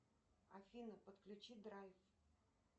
афина подключи драйв